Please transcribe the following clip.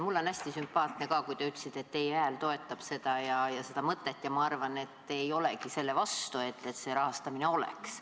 Mulle oli hästi sümpaatne, kui te ütlesite, et teie hääl toetab seda mõtet, ja ma arvan, et te ei olegi selle vastu, et see rahastamine oleks.